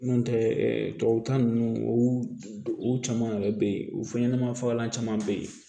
N'o tɛ tubabukan ninnu u caman yɛrɛ bɛ yen u fɛn ɲɛnama fagalan caman bɛ yen